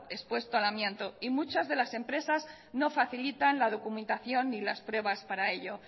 expuesto al amianto y muchas de las empresas no facilitan la documentación y las pruebas para ello